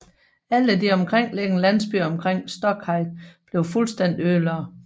Alle de omkringliggende landsbyer omkring Stokhid blev fuldstændig ødelagt